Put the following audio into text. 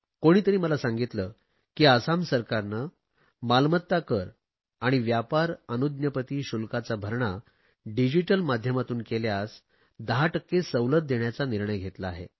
कोणीतरी मला सांगितले की आसाम सरकारने मालमत्ता कर आणि व्यापार अनुज्ञपती शुल्काचा भरणा डिजिटल माध्यमातून केल्यास 10 टक्के सवलत देण्याचा निर्णय घेतला आहे